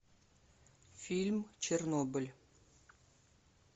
фильм чернобыль